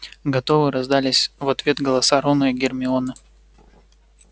готовы раздались в ответ голоса рона и гермионы